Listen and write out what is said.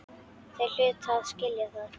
Þeir hlutu að skilja það.